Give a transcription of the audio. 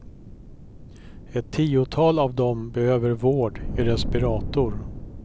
Ett tiotal av dem behöver vård i respirator.